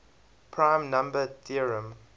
prime number theorem